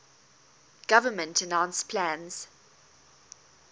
government announced plans